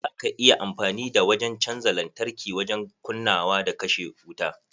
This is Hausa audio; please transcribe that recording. Za ka iya amfani da wajen canja lantarki wajen kunnawa da kashe wuta.